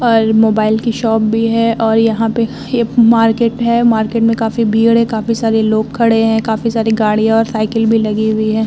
और मोबाइल की शॉप भी है और यहाँ पे एक मार्केट है। मार्केट में काफ़ी भीड़ है। काफ़ी सारे लोग खड़े हैं। काफ़ी सारी गाड़ियाँ और साइकिल भी लगी हुई है।